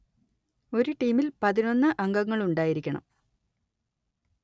ഒരു ടീമിൽ പതിനൊന്ന് അംഗങ്ങളുണ്ടായിരിക്കണം